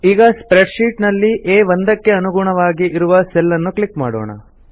ಈಗ spreadsheet ನಲ್ಲಿ ಆ1 ಕ್ಕೆ ಅನುಗುಣವಾಗಿ ಇರುವ ಸೆಲ್ ಅನ್ನು ಕ್ಲಿಕ್ ಮಾಡೋಣ